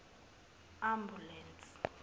ambulense